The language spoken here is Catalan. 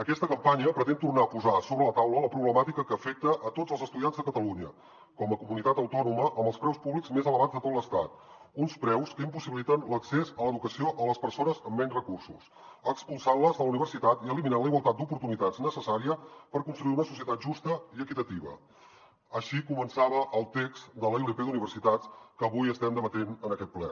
aquesta campanya pretén tornar a posar sobre la taula la problemàtica que afecta a tots els estudiants de catalunya com a comunitat autònoma amb els preus públics més elevats de tot l’estat uns preus que impossibiliten l’accés a l’educació a les persones amb menys recursos expulsant les de la universitat i eliminant la igualtat d’oportunitats necessària per construir una societat justa i equitativa així començava el text de la ilp d’universitats que avui estem debatent en aquest ple